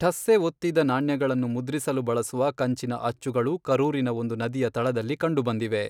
ಠಸ್ಸೆ ಒತ್ತಿದ ನಾಣ್ಯಗಳನ್ನು ಮುದ್ರಿಸಲು ಬಳಸುವ ಕಂಚಿನ ಅಚ್ಚುಗಳು ಕರೂರಿನ ಒಂದು ನದಿಯ ತಳದಲ್ಲಿ ಕಂಡುಬಂದಿವೆ.